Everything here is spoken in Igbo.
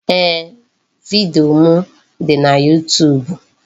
Ee, vidiyo m dị na YuuTuub.